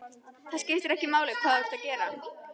Það skiptir ekki máli hvað þú ert að gera.